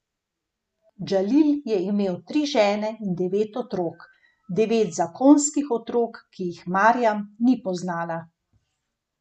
Džalil je imel tri žene in devet otrok, devet zakonskih otrok, ki jih Marjam ni poznala.